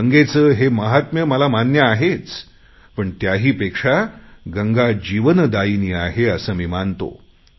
गंगेचे हे महात्म्य मला मान्य आहेच पण त्याही पेक्षा गंगा जीवनदायिनी आहे असे मी मानतो